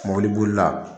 Mobili bolila